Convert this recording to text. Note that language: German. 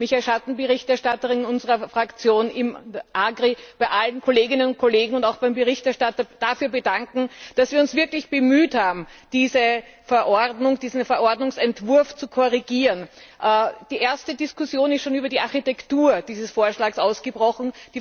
Ich möchte mich als Schattenberichterstatterin unserer Fraktion im AGRI Ausschuss bei allen Kolleginnen und Kollegen und auch beim Berichterstatter dafür bedanken, dass wir uns wirklich bemüht haben, diesen Verordnungsentwurf zu korrigieren. Die erste Diskussion ist schon über die Architektur dieses Vorschlags ausgebrochen.